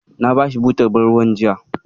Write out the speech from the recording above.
Na bashi butar ban ruwan jiya.